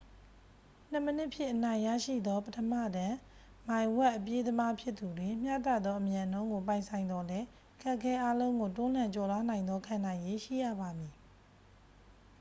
နှစ်မိနစ်ဖြင့် အနိုင်ရရှိသော ပထမတန်း မိုင်ဝက် အပြေးသမားဖြစ်သူတွင် မျှတသောအမြန်နှုန်းကို ပိုင်ဆိုင်သော်လည်း အခက်အခဲအားလုံးကို တွန်းလှန် ကျော်လွှားနိုင်သော ခံနိုင်ရည်ရှိရပါမည်